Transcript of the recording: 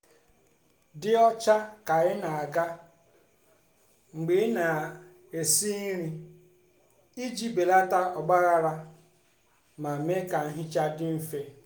dị ọcha ka ị na-aga mgbe ị na-esi nri iji belata ọgbaghara ma mee ka nhicha dị mfe.